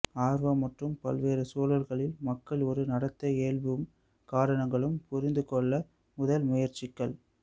ஆர்வம் மற்றும் பல்வேறு சூழ்நிலைகளில் மக்கள் ஒரு நடத்தை இயல்பும் காரணங்களும் புரிந்து கொள்ள முதல் முயற்சிகள்